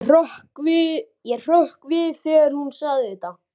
Ég hrökk við þegar hún sagði þetta.